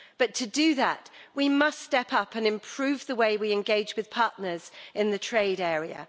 But to do that we must step up and improve the way we engage with partners in the trade area.